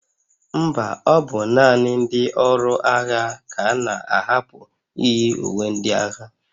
Mba, ọ bụ naanị ndị ọrụ agha ka a na-ahapụ iyi uwe ndị agha